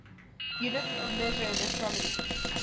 units of measure in astronomy